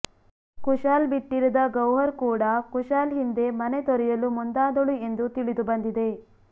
ಕುಶಾಲ್ ಬಿಟ್ಟಿರದ ಗೌಹರ್ ಕೂಡಾ ಕುಶಾಲ್ ಹಿಂದೆ ಮನೆ ತೊರೆಯಲು ಮುಂದಾದಳು ಎಂದು ತಿಳಿದು ಬಂದಿದೆ